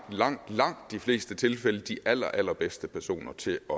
langt langt de fleste tilfælde de allerallerbedste personer til at